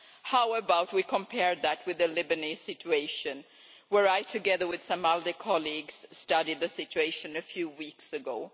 How about comparing that with the Lebanese situation where I, together with some ALDE colleagues, studied the situation a few weeks ago?